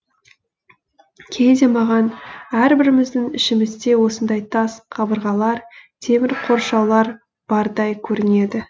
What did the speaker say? кейде маған әрбіріміздің ішімізде осындай тас қабырғалар темір қоршаулар бардай көрінеді